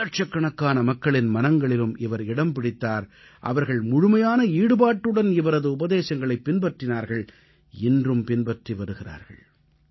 பல இலட்சக் கணக்கான மக்களின் மனங்களிலும் இவர் இடம் பிடித்தார் அவர்கள் முழுமையான ஈடுபாட்டுடன் இவரது உபதேசங்களைப் பின்பற்றினார்கள் இன்றும் பின்பற்றி வருகிறார்கள்